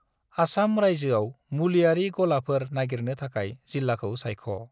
आसाम रायजोआव मुलिआरि गलाफोर नागिरनो थाखाय जिल्लाखौ सायख'।